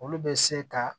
Olu bɛ se ka